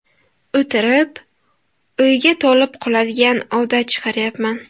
O‘tirib, o‘yga tolib qoladigan odat chiqarayapman.